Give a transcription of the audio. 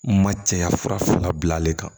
Ma cɛya fura fila bilalen kan